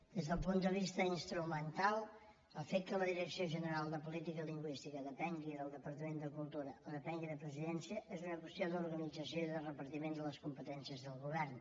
des del punt de vista instrumental el fet que la direcció general de política lingüística depengui del departament de cultura o depengui de presidència és una qüestió d’organització i de repartiment de les competències del govern